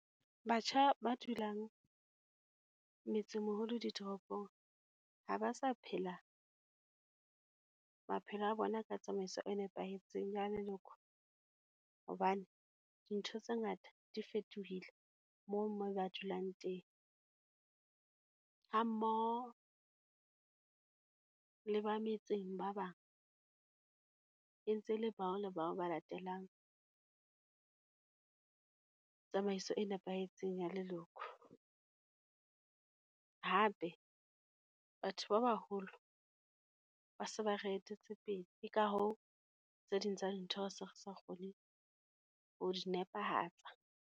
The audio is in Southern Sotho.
Batjha ba dulang metsemeholo ditoropong, ha ba sa phela maphelo a bona ka tsamaiso e nepahetseng ya leloko, hobane dintho tse ngata di fetohile moo mo ba dulang teng. Ha mmoho le ba metseng ba bang, e ntse e le bao le bao ba latelang tsamaiso e nepahetseng ya leloko. Hape, batho ba baholo ba se ba re etetse pele, ka hoo tse ding tsa dintho se re sa kgone ho di nepehatsa.